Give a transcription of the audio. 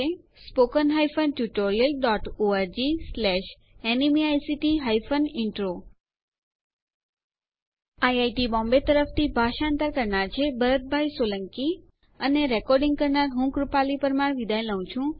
spoken hyphen tutorial dot ORG slash NMEICT hyphen intro IIT Bombay તરફથી ભાષાંતર કરનાર છે ભરત સોલંકી અને રેકોર્ડીંગ કરનાર હું વિદાય લઉં છું